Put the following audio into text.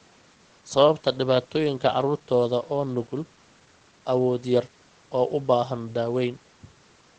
Sababta dhibaatooyinka carruurtooda oo nugul, awood yar oo u baahan daaweyn.